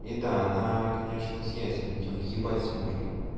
и да она конечно с яйцами она тебе въебать сможет